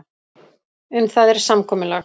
Um það er samkomulag.